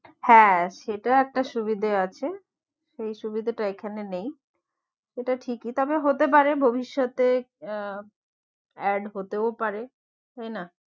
হ্যাঁ সেটা একটা সুবিধে আছে সেই সুবিধেটা এখানে নেই সেটা ঠিকই তবে হতে পারে ভব্যিষতে আহ add হতেও পারে তাই না